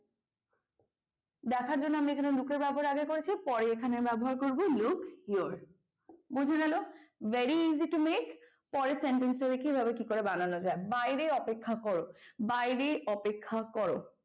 দেখার জন্য আমরা এখানে look এর ব্যবহার আগে করেছি পরে এখানে ব্যবহার করব look your বোঝা গেল? very easy to make পরের sentence টাকে কিভাবে কি করে বানানো যায় বাইরে অপেক্ষা করো। বাইরে অপেক্ষা করো,